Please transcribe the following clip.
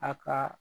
A ka